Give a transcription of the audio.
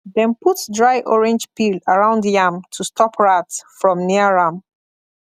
dem put dry orange peel around yam to stop rat from near am